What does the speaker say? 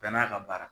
Bɛɛ n'a ka baara